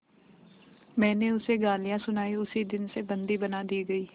मैंने उसे गालियाँ सुनाई उसी दिन से बंदी बना दी गई